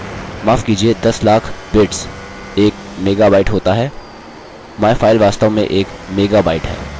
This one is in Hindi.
माफ़ कीजिये दस लाख बिट्स एक मेगाबाईट होता है myfile वास्तव में एक मेगाबाईट है